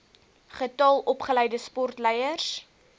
getal opgeleide sportleiers